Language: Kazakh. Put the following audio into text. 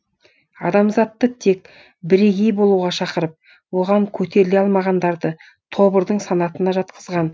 адамзатты тек бірегеи болуға шақырып оған көтеріле алмағандарды тобырдың санатына жатқызған